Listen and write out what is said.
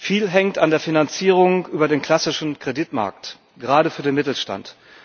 Viel hängt an der Finanzierung über den klassischen Kreditmarkt, gerade für den Mittelstand.